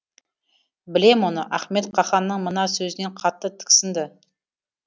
білем оны ахмет қаһанның мына сөзінен қатты тіксінді